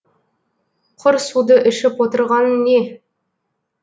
құр суды ішіп отырғаның не